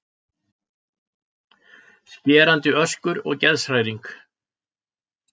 Skerandi öskur og geðshræring.